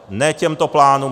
Ne těmto plánům.